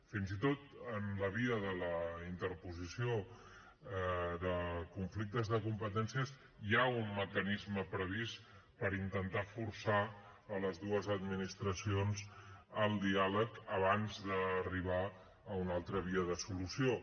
fins i tot en la via de la interposició de conflictes de competències hi ha un mecanisme previst per intentar forçar les dues administracions al diàleg abans d’arribar a una altra via de solució